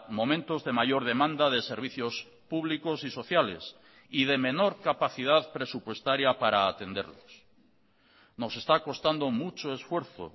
momentos de mayor demanda de servicios públicos y sociales y de menor capacidad presupuestaria para atenderlos nos está costando mucho esfuerzo